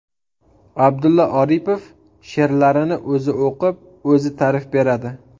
Abdulla Oripov she’rlarini o‘zi o‘qib, o‘zi ta’rif beradi.